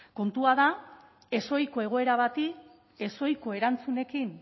kontua da ezohiko egoera bati ezohiko erantzunekin